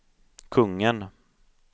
kungen